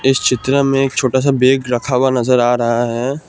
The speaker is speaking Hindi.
इस चित्र में एक छोटा सा बैग रखा हुआ नजर आ रहा है।